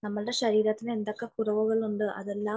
നമ്മുടെ ശരീരത്തിന് എന്തൊക്കെ കുറവുകളുണ്ട് അതെല്ലാം